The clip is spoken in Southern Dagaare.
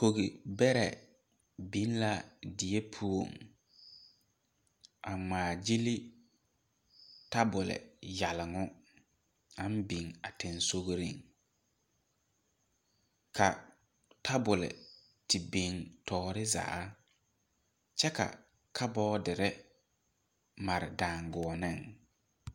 Kogibɛrɛ biŋ la die poɔ a ŋmaa gyili tebul yɛloŋɔ aŋ biŋ a sensɔgreŋ ka tebul te biŋ tɔɔre zaa kyɛ ka kaboodiri mare daagoɔniŋ.